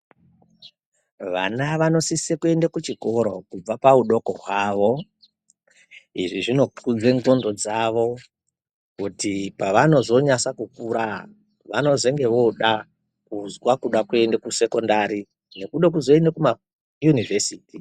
Vana vanosise kuende kuchikora kubva paudoko hwavo izvi zvinokudze nxondo dzavo kuti pavanozonyasa kukura vanozenge vooda kuzwa kude kuende kusekondari nekude kuzoende kumayunivhesiti.